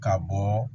Ka bɔ